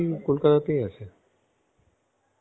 রাঙ্গা পিসি কলকাতাতেই আছে .